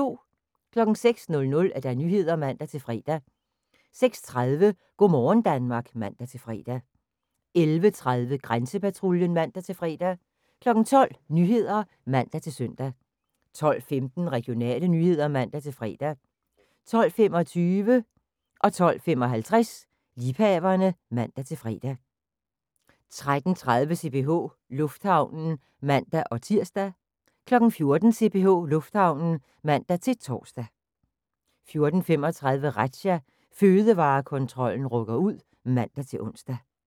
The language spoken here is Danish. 06:00: Nyhederne (man-fre) 06:30: Go' morgen Danmark (man-fre) 11:30: Grænsepatruljen (man-fre) 12:00: Nyhederne (man-søn) 12:15: Regionale nyheder (man-fre) 12:25: Liebhaverne (man-fre) 12:55: Liebhaverne (man-fre) 13:30: CPH Lufthavnen (man-tir) 14:00: CPH Lufthavnen (man-tor) 14:35: Razzia – Fødevarekontrollen rykker ud (man-ons)